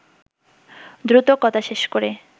দ্রুত কথা শেষ করে